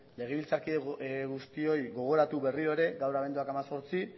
legebiltzarkide guztioi gogoratu berriro ere gaur abenduak hemezortzi